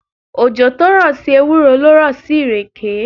Òjò tó rọ̀ sí ewúro ló rọ̀ sí ìrèké.